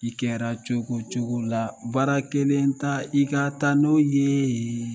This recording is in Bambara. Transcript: I kɛra cogo cogo la baara kelen ta i ka taa n'o ye